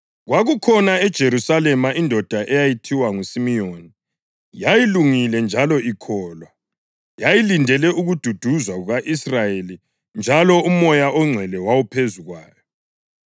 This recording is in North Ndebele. Kwakukhona eJerusalema indoda eyayithiwa nguSimiyoni, yayilungile njalo ikholwa. Yayilindele ukududuzwa kuka-Israyeli, njalo uMoya oNgcwele wawuphezu kwayo.